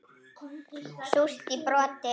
Súrt í broti.